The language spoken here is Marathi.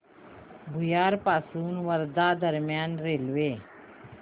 भुयार पासून वर्धा दरम्यान रेल्वे